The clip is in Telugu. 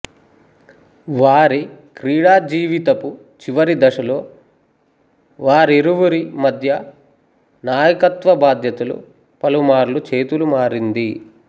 వారి క్రీడాజీవితపు చివరిదశలో వారిరువిరి మధ్య నాయకత్వ బాధ్యతలు పలుమార్లు చేతులుమారింది